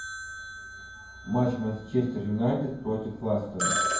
матч манчестер юнайтед против лестера